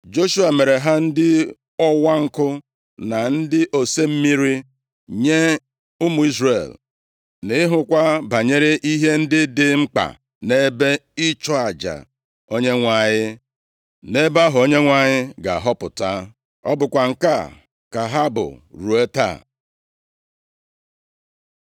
Joshua mere ha ndị ọwa nkụ na ndị ose mmiri nye ụmụ Izrel, na ịhụkwa banyere ihe ndị dị mkpa nʼebe ịchụ aja Onyenwe anyị, nʼebe ahụ Onyenwe anyị ga-ahọpụta. Ọ bụkwa nke a ka ha bụ ruo taa.